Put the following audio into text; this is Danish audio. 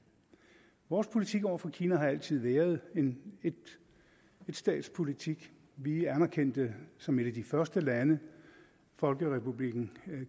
vores politik over for kina har altid været en etstatspolitik vi anerkendte som et af de første lande folkerepublikken